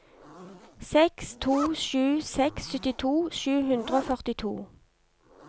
seks to sju seks syttito sju hundre og førtito